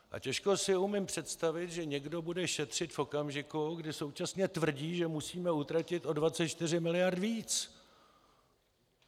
A těžko si umím představit, že někdo bude šetřit v okamžiku, kdy současně tvrdí, že musíme utratit o 24 mld. víc.